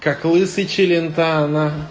как лысый челентано